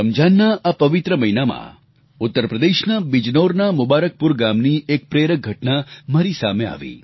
રમજાનના આ પવિત્ર મહિનામાં ઉત્તર પ્રદેશના બિજનૌરના મુબારકપુર ગામની એક પ્રેરક ઘટના મારી સામે આવી